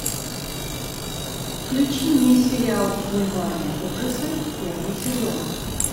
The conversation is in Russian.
включи мне сериал бульварные ужасы первый сезон